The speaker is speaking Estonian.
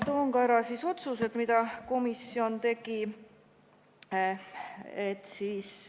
Toon ka ära otsused, mille komisjon tegi.